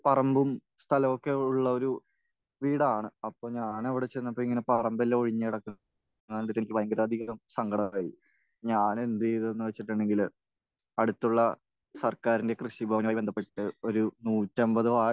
പറമ്പും സ്ഥലവുമൊക്കെയുള്ള ഒരു വീടാണ്. അപ്പോൾ ഞാൻ അവിടെ ചെന്നപ്പോൾ ഇങ്ങനെ പറമ്പെല്ലാം ഒഴിഞ്ഞ് കിടക്കുന്നത് കണ്ടിട്ട് എനിക്ക് ഭയങ്കര അധികം സങ്കടമായി. ഞാൻ എന്ത് ചെയ്തു എന്ന് വെച്ചിട്ടുണ്ടെങ്കിൽ അടുത്തുള്ള സർക്കാരിന്റെ കൃഷിഭവനുമായി ബന്ധപെട്ടിട്ട് ഒരു നൂറ്റി അൻപത് വാഴ